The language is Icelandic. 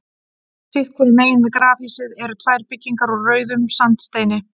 Sitt hvoru megin við grafhýsið eru tvær byggingar úr rauðum sandsteini.